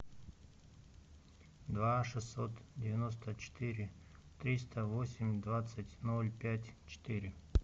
два шестьсот девяносто четыре триста восемь двадцать ноль пять четыре